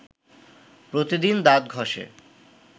প্রতিদিন দাঁত ঘষে